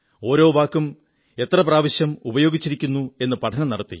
ഓരോ വാക്കും എത്ര പ്രാവശ്യം ഉപയോഗിച്ചിരിക്കുന്നു എന്നു പഠനം നടത്തി